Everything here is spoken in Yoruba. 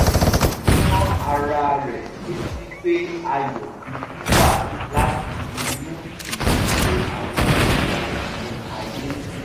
ó rán ara rẹ̀ létí pé ayọ̀ gidi wá láti inú kì í ṣe àwọn nǹkan inú ayé